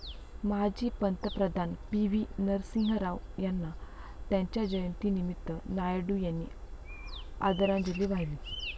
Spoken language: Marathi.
माजी पंतप्रधान पी व्ही नरसिंहराव यांना त्यांच्या जयंतीनिमित्त नायडू यांनी आदरांजली वाहिली.